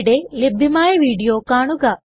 ഇവിടെ ലഭ്യമായ വീഡിയോ കാണുക